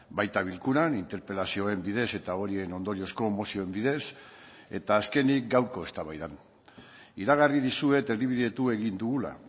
baita bilkuran interpelazioen bidez eta horien ondoriozko mozioen bidez eta azkenik gaurko eztabaidan iragarri dizuet erdibidetu egin dugula